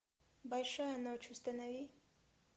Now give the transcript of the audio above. большая ночь установи